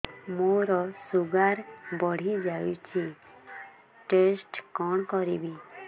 ମୋର ଶୁଗାର ବଢିଯାଇଛି ଟେଷ୍ଟ କଣ କରିବି